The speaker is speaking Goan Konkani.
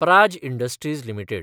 Praj Industries limited